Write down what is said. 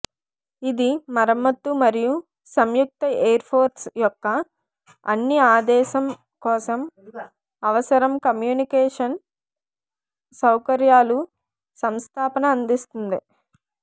ఇది మరమ్మత్తు మరియు సంయుక్త ఎయిర్ ఫోర్స్ యొక్క అన్ని ఆదేశం కోసం అవసరం కమ్యూనికేషన్ సౌకర్యాలు సంస్థాపన అందిస్తుంది